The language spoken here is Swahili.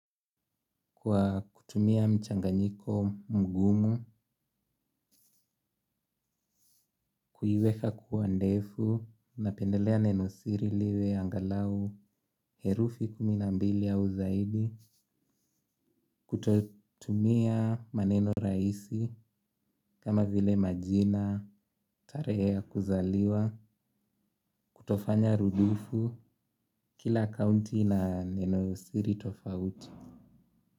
Kwa kutumia mchanganyiko mgumu, kuiweka kua ndefu, napendelea nenosiri liwe angalau, herufi kuminambili au zaidi, kutotumia maneno raisi, kama vile majina, tare ya kuzaliwa, kutofanya rudufu, kila akaunti na nenosiri tofauti.